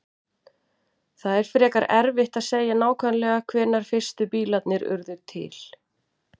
Það er frekar erfitt að segja nákvæmlega hvenær fyrstu bílarnir urðu til.